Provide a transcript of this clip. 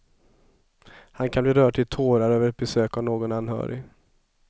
Han kan bli rörd till tårar över ett besök av någon anhörig.